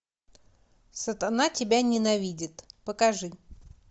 сатана тебя ненавидит покажи